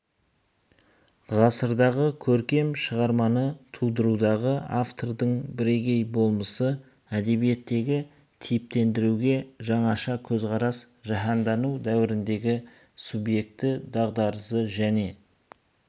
ғасырдағы көркем шығарманы тудырудағы автордың бірегей болмысы әдебиеттегі типтендіруге жаңаша көзқарас жаһандану дәуіріндегі субъекті дағдарысы және